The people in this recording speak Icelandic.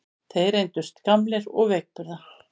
Þeir reyndust gamlir og veikburða